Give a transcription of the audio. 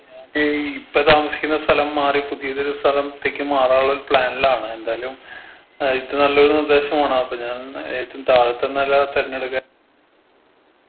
ഏർ ഇപ്പൊ താമസിക്കുന്ന സ്ഥലം മാറി പുതിയതൊരു സ്ഥലത്തെക്ക് മാറാനുള്ളൊരു plan ലാണ് എന്തായാലും height നല്ലൊരു നിർദ്ദേശമാണ് അപ്പൊ ഞാൻ ഏറ്റും താഴത്തെ നെല തെരഞ്ഞെടുക്കാ